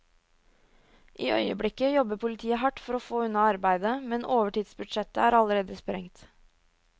I øyeblikket jobber politiet hardt for å få unna arbeidet, men overtidsbudsjettet er allerede sprengt.